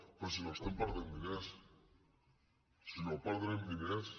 perquè si no estem perdent diners si no perdrem diners